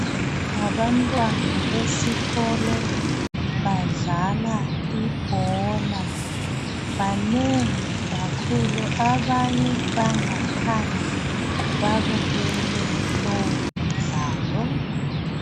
Ngabantwana besikolo badlala ibhola banengi kakhulu. Abanye bangaphandle babukele lowu mdlalo.